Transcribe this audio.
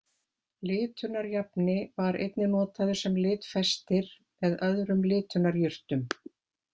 Litunarjafni var einnig notaður sem litfestir með öðrum litunarjurtum.